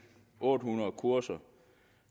otte hundrede kurser